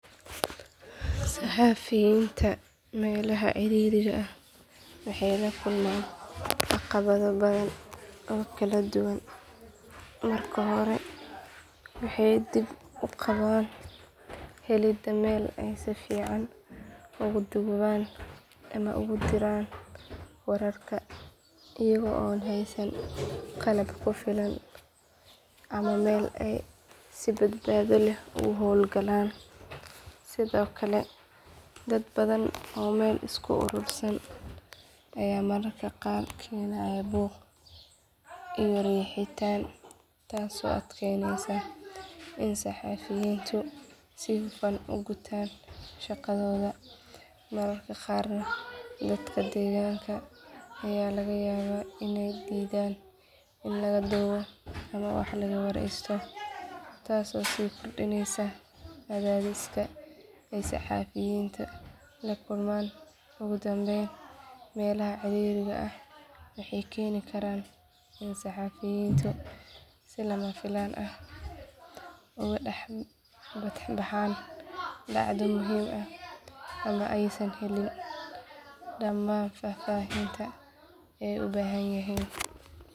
Saxafiyinta melaha ciririga ah waxey lakulman dhaqamadha badhan oo kala duwan. Marki hora waxey dib uqaban helida Mel aysan fican oguduman ama ogudiran wararka iyago haysan qalab kufilan ama Mel ay si badbadho leh u holgalan sidhokale dad badhan oo Mel isku urursan Aya mararka qaar kenaya buuq iyo rixitaan taaso adkeyneysa in saxafiyuntu sifan u gutaan shaqadhodha. Mararka qaar dadka deeganka Aya lagayaba inay didhan in lagadubo ama wax laga wareysto taaso so gudbineysa adhabeysta saxafiyinta lakulman ugudambeyn melaha ciririga ah waxey keni Karan in saxafiyuntu si lamafilan ah ugu daxbaxan bacdu muhim ah ama aysan helin damaan fafahinta ay ubahanyihin